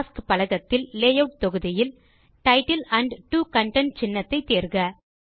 tasks பலகத்தில் layout தொகுதியில் title and 2 content சின்னத்தை தேர்க